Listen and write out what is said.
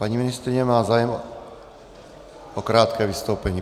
Paní ministryně má zájem o krátké vystoupení.